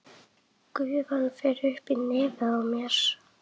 Gufan fer upp í nefið á mér.